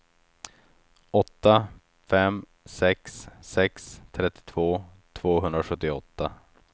åtta fem sex sex trettiotvå tvåhundrasjuttioåtta